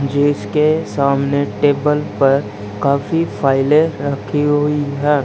जिसके सामने टेबल पर काफी फाइलें रखी हुई है।